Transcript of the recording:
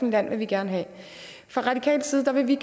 land vil vi gerne have fra radikal side vil vi